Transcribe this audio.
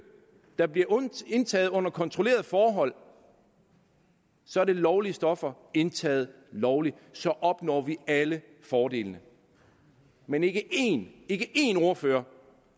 der bliver indtaget under kontrollerede forhold så er det lovlige stoffer indtaget lovligt og så opnår vi alle fordelene men ikke én ikke én ordfører